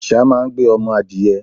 Àsá máa ń gbé ọmọ adìẹ.